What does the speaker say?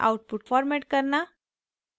* output format करना